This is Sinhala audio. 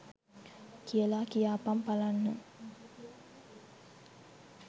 කියාලා කියාපන් පලන්න?